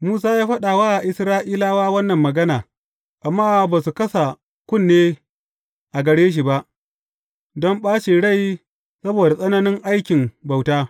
Musa ya faɗa wa Isra’ilawa wannan magana, amma ba su kasa kunne a gare shi ba, don ɓacin rai saboda tsananin aikin bauta.